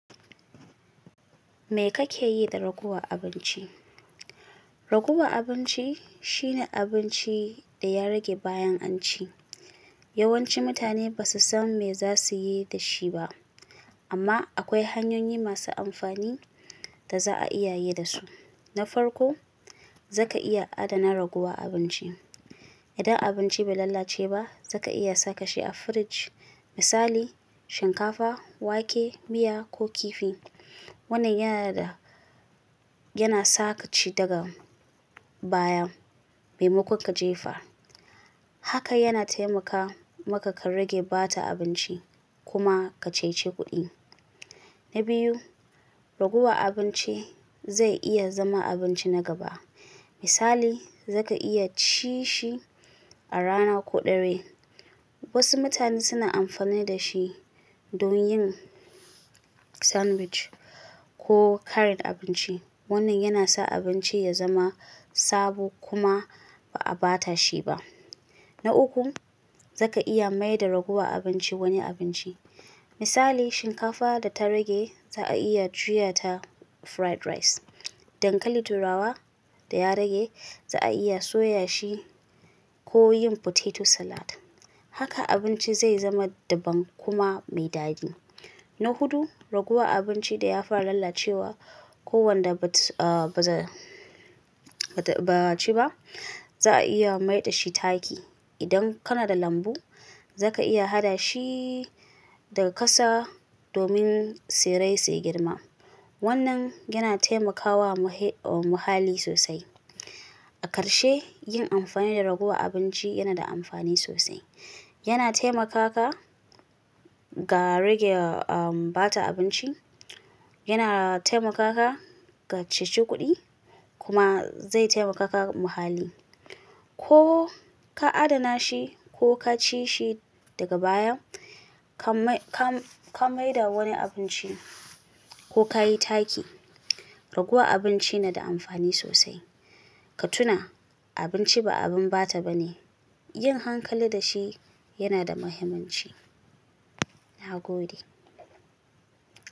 Me kake yi da raguwar abinci? Raguwar abinci shine abinci da ya rage bayan an ci. Yawanci mutane ba su san me za su yi da shi ba. Amma akwai hanyoyi masu amfani da za'a iya yi dasu. Na farko, za ka iya adana raguwar abinci. Idan abinci bai lalace ba, za ka iya saka shi a firij. Misali shinkafa, wake, miya ko kifi. Wannan yana da-- yana sa ka ci daga baya, mai makon ka jefa. Haka yana taimaka maka ka rage ɓata abinci kuma ka cece kuɗi. Na biyu, raguwar abinci zai iya zama abinci na gaba. Misali, za ka iya ci shi a rana ko dare. Wasu mutane suna amfani da shi don yin sandwich ko ƙarin abinci. Wannan yana sa abinci ya zama sabo kuma ba'a bata shi ba. Na uku, za ka iya maida raguwar abinci wani abinci. Misali shinkafa da ta rage za'a iya juya ta fried rice. Dankali turawa da ya rage za'a iya soya shi ko yin potato salad. Haka abinci zai zama daban kuma mai daɗi. Na hudu, raguwar abinci da ya fara lalacewa ko wanda ba a ci ba, za'a iya maida shi taki. Idan kana da lambu, za ka iya hada shi daga ƙasa domin tsirai suyi girma. Wannan yana taimakawa muhe-- ah muhalli sosai. A karshe, yin amfani da raguwar abinci yana da amfani sosai. Yana taimaka ka ga rage ah ɓata abinci, yana taimaka ka ka cece kuɗi kuma zai taimaka ka muhalli. Ko ka adana shi ko ka ci shi daga baya, ka mai- ka ka maida wani abinci ko ka yi taki, raguwar abinci na da amfani sosai. Ka tuna, abinci ba abin ɓata bane. Yin hankali da shi yana da mahimmanci. Na gode.